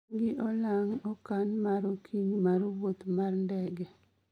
an gi olang' okan mar okinyi mar wuoth mar ndege